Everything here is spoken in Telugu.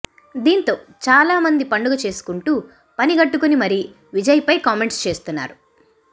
దీంతో చాలామంది పండుగ చేసుకుంటూ పనిగట్టుకుని మరీ విజయ్ పై కామెంట్స్ చేస్తున్నారు